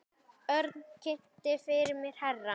Örn kynnti fyrir mér herra